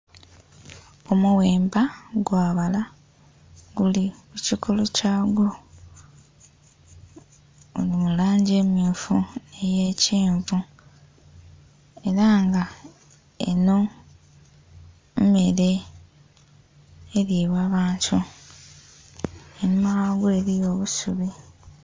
Omughemba gwa bala giliku kokolo kya gwo guli mu langi emyufu nhi kyenvu era nga enho mmere eilibwa bantu einhuma gha gwo eriyo obusubi.